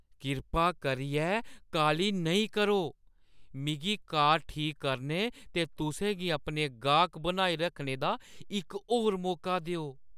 कृपा करियै काह्‌ली नेईं करो। मिगी कार ठीक करने ते तुसें गी अपने गाह्क बनाई रक्खने दा इक होर मौका देओ।